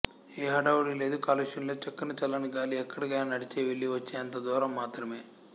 ఏ హడాహుడి లేదు కాలుష్యం లేదు చక్కని చల్లనిగాలి ఎక్కడికైన నడిచే వెళ్లి వచ్చేంత దూరం మాత్రమే